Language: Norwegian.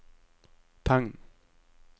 tegn